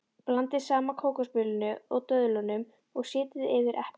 Blandið saman kókosmjölinu og döðlunum og setjið yfir eplin.